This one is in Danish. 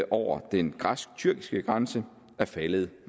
over den græsk tyrkiske grænse er faldet